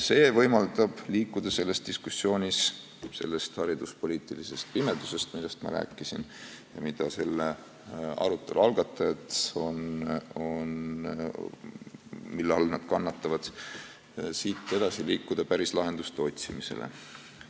See võimaldab liikuda selles diskussioonis selle hariduspoliitilise pimeduse juurest, millest ma rääkisin ja mille all selle arutelu algatajad kannatavad, edasi päris lahenduste otsimise poole.